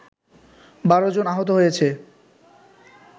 ১২ জন আহত হয়েছে